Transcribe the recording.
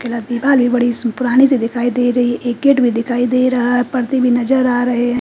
बड़ी सी पुरानि सी दिखाई दे रही है एक गेट भी दिखाई दे रहा है परदे भी नज़र आ रहे है।